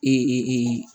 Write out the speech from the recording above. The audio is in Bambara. Ee